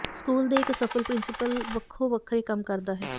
school ਦੇ ਇੱਕ ਸਫਲ ਪ੍ਰਿੰਸੀਪਲ ਵੱਖੋ ਵੱਖਰੇ ਕੰਮ ਕਰਦਾ ਹੈ